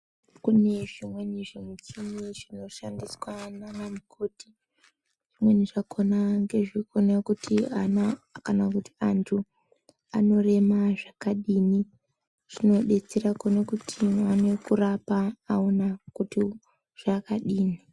Kune zvimweni zvimuchini zvinoshandiswa nana mukoti zvimweni zvakona ngezvekuona kuti ana kana kuti antu anorema zvakadini zvinodetsera kuone kuti vaone kurapa aona kuti zvakadini.